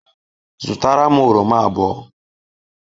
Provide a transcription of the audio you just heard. Zụtara m oroma abụọ.